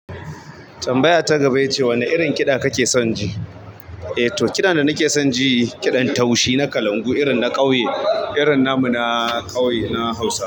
Tambaya ta gaba ita ce wane irin kiɗa kake son ji? Eh, to kiɗa da nake son ji kiɗan taushi na kalangu irin na ƙauye, irin namu na ƙauye, na Hausa.